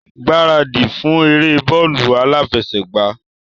Gbaradi fún eré bóólù aláfẹṣègbàá!